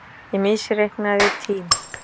Ég misreiknaði tím